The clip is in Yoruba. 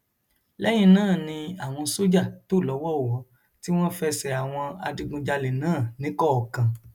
lẹyìn náà ni àwọn sójà tò lọwọọwọ tí wọn fẹsẹ àwọn adigunjalè náà níkọọkan